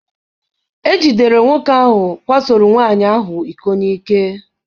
Ejidere nwoke ahụ kwasoro nwaanyị ahụ iko n'ike.